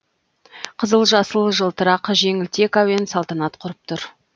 қызыл жасыл жылтырақ жеңілтек әуен салтанат құрып тұр